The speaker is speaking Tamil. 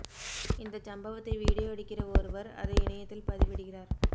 இந்தச் சம்பவத்தை வீடியோ எடுக்கிற ஒருவர் அதை இணையத்தில் பதிவிடுகிறார்